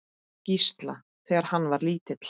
Gísla, þegar hann var lítill.